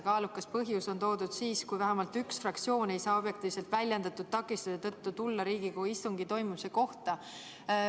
Kaalukas põhjus on olemas siis, kui vähemalt üks fraktsioon ei saa objektiivselt väljendatud takistuse tõttu tulla Riigikogu istungi toimumise kohta.